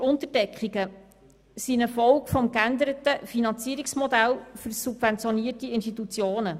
Über- und Unterdeckungen sind eine Folge des geänderten Finanzierungsmodells für subventionierte Institutionen.